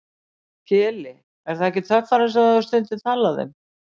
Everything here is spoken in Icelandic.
Keli, er það ekki töffarinn sem þú hefur stundum talað um?